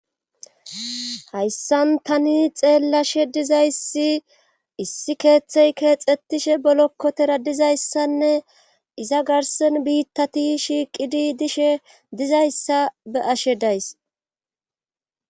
hayssan tani xeellashe dizayssi issi keeththey keexetishe bolokkotera dizayssanne iza garsen biittati shiiqidi dishe dizayssa be'ashe days